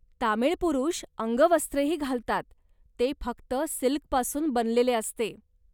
तमिळ पुरुष अंगवस्त्रही घालतात, ते फक्त सिल्कपासून बनलेले असते.